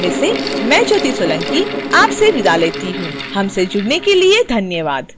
यह ट्यूटोरियल विकास द्वारा अनुवादित है आई आई टी बॉम्बे से मैं ज्योति सोलंकी आपसे विदा लेती हूँ हमसे जुड़ने के लिए धन्यवाद